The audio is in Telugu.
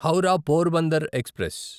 హౌరా పోర్బందర్ ఎక్స్ప్రెస్